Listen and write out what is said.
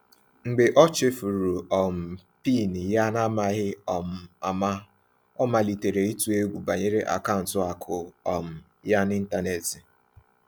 Mgbe ọ chefuru um PIN ya n’amaghị um ama, ọ malitere ịtụ egwu banyere akaụntụ akụ um ya n’ịntanetị.